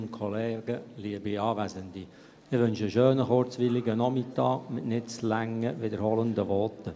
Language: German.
Ich wünsche einen schönen, kurzweiligen Nachmittag, mit nicht zu langen, sich wiederholenden Voten.